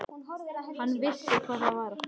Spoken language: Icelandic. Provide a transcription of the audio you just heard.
Hann vissi hvað það var.